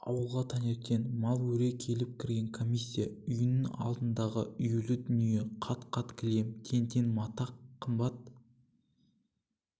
ауылға таңертең мал өре келіп кірген комиссия үйінің алдындағы үюлі дүние қат-қат кілем тең-тең мата қымбат